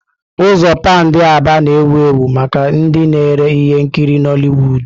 Ụzọ Pándị Aba na-ewu ewu maka ndị na-ere ihe nkiri Nollịwụ́d.